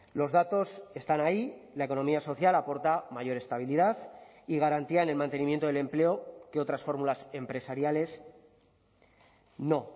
los datos están ahí y la economía social aporta mayor estabilidad y garantía en el mantenimiento del empleo que otras fórmulas empresariales no